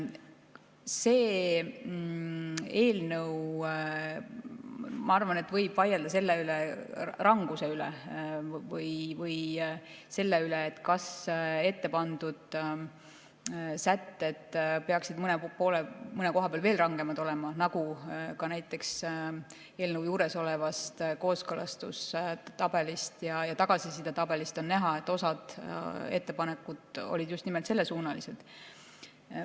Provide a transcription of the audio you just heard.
Selle eelnõu puhul, ma arvan, võib vaielda selle ranguse üle või selle üle, kas ettepandud sätted peaksid mõne koha peal veel rangemad olema, nagu ka näiteks eelnõu juures olevast kooskõlastustabelist ja tagasisidetabelist on näha, osa ettepanekuid olid just nimelt sellesuunalised.